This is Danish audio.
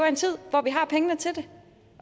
en tid hvor vi har pengene til det